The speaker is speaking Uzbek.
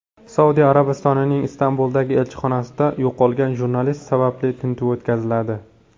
Saudiya Arabistonining Istanbuldagi elchixonasida yo‘qolgan jurnalist sababli tintuv o‘tkaziladi.